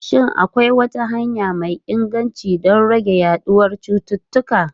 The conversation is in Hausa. Shin akwai wata hanya mai inganci don rage yaduwar cututtuka?